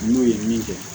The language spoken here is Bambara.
N'u ye min kɛ